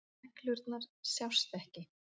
Neglurnar sjást ekki.